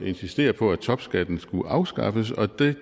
insistere på at topskatten skulle afskaffes og det